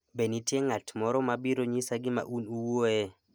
be nitie ng'at moro mabiro nyisa gima un uwuoye